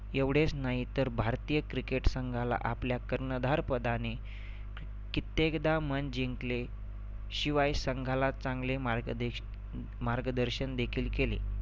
एवढेच नाहीतर भारतीय cricket संघाला आपल्या कर्णधार पदाने कित्येकदा मन जिंकले शिवाय संघाला चांगले मार्गदेश अं मार्गदर्शन देखील केले